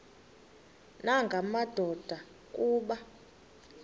nanga madoda kuba